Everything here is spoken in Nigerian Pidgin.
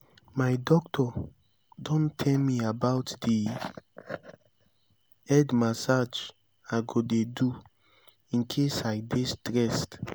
my doctor don tell me about the head massage i go dey do in case i dey stressed